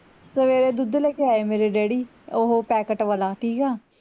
ਸਵੇਰੇ ਦੁੱਧ ਲੈਕੇ ਆਏ ਮੇਰੇ daddy ਓਹੋ packet ਵਾਲਾ ਠੀਕ ਆ